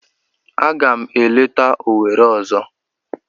Aga m eleta Owere ozo.